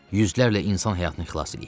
Yüzlərlə insan həyatını xilas eləyib.